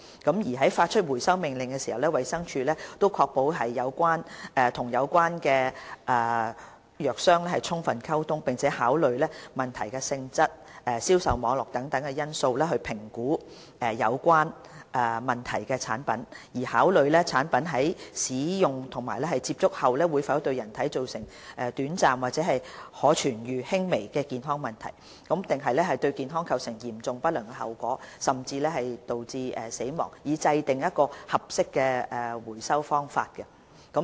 在發出回收命令時，衞生署會確保與有關藥商充分溝通，並考慮問題的性質、銷售網絡等因素評估有問題的產品，考慮該產品在使用及接觸後會否對人體造成短暫、可治癒、輕微的健康問題，抑或對健康構成嚴重不良的後果，甚至導致死亡，以制訂合適的回收方法。